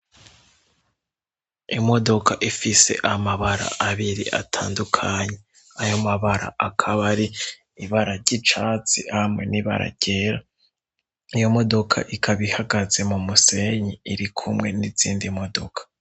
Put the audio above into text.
Imodoka ifise amabara abiri atandukanye. Ayo mabara akaba ari ibara ry'icatsi hamwe n'ibara ryera. Iyo modoka ikaba ihagaze mu musenyi, iri kumwe n'izindi modoka.